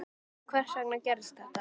Hvernig og hvers vegna gerðist þetta?